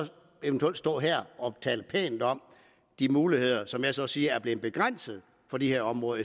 står man her og taler pænt om de muligheder som jeg så siger er blevet begrænsede for de her områder